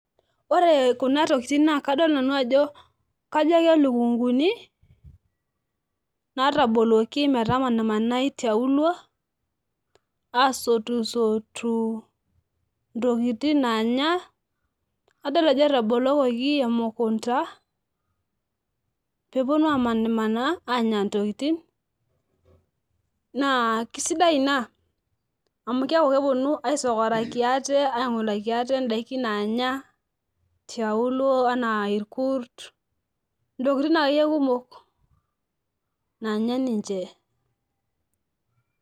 ore kuna tokitin naa kadol nanu ajo kajo kelukunkuni naataboluoki metamanai tiaulo. aasotu ntokitin naanya. adol ajo etabolokoki emukunta, pee epuonu amaanimaanaa anya ntokitin. naa kisidai ina amu keeku kepuonu aisokoraki aate idaikin naanya, tiaulo anaa irkurt, ntokitin akeyie kumok naanya ninche.